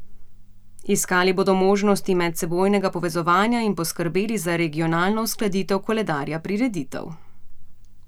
Iskali bodo možnosti medsebojnega povezovanja in poskrbeli za regionalno uskladitev koledarja prireditev.